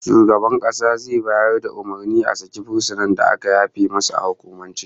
Shugaban kasa zai bayar da umurnin a saki fursunan da aka yafe masa a hukumance